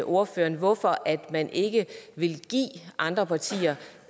ordføreren hvorfor man ikke vil give andre partier